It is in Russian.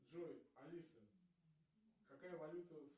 джой алиса какая валюта в